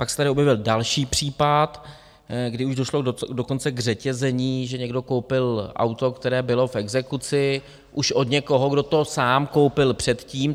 Pak se tady objevil další případ, kdy už došlo dokonce k řetězení, že někdo koupil auto, které bylo v exekuci, už od někoho, kdo to sám koupil předtím.